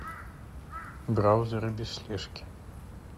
браузеры без слежки